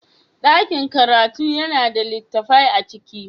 Daƙin karatu yana da littattafai a ciki.